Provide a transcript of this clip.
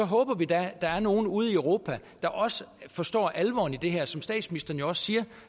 håber vi da at der er nogle ude i europa der også forstår alvoren i det her og som statsministeren jo også siger